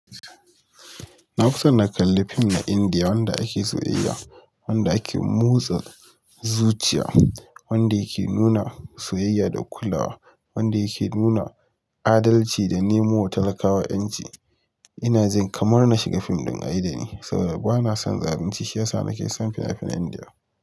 Nafi son na kalla fim na Indiya wanda ake soyayya, wanda ake motsa zuciya, wanda yake nuna soyayya da kulawa, wanda yake nuna adalci da nemowa talakawa ƴanci. Ina jin kamar na shiga fim ɗin a yi da ni saboda bana son zalunci shiyasa, nake son finafinan Indiya.